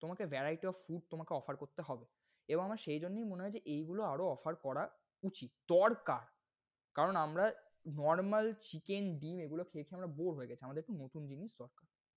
তোমাকে variety of food তোমাকে offer করতে হবে। এবং আমার সেই জন্যেই মনে হয় যে এই গুলো আরও offer করা উচিৎ। দরকার, কারণ আমরা normal chicken ডিম এগুলো খেয়ে খেয়ে bore গেছি। আমাদের একটু নতুন জিনিস দরকার